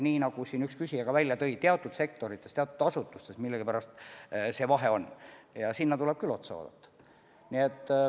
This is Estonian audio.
Nagu siin üks küsija välja tõi, teatud sektorites, teatud asutustes millegipärast see vahe on ja sellele tuleb küll otsa vaadata.